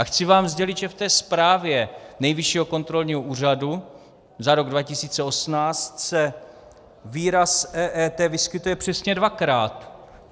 A chci vám sdělit, že v té zprávě Nejvyššího kontrolního úřadu za rok 2018 se výraz EET vyskytuje přesně dvakrát.